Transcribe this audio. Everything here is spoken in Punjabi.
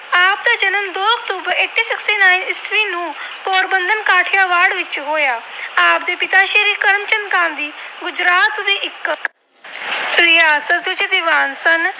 ਵਿੱਚ ਹੋਇਆ। ਆਪ ਦੇ ਪਿਤਾ ਸ੍ਰੀ ਕਰਮਚੰਦ ਗਾਂਧੀ ਗੁਜਰਾਤ ਦੇ ਇੱਕ ਰਿਆਸਤੀ ਦੀਵਾਨ ਸਨ।